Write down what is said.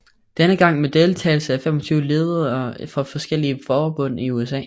Denne gang med deltagelse af 25 ledere fra forskellige forbund i USA